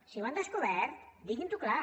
si ho han descobert diguin ho clar